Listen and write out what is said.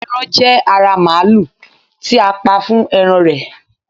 eran je ara maalu ti a pa fún eran rẹ